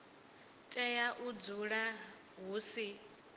tea u dzula hu si